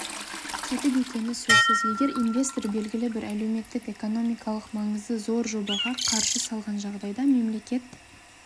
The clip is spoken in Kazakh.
тетік екені сөзсіз егер инвестор белгілі бір әлеуметтік-экономикалық маңызы зор жобаға қаржы салған жағдайда мемлекет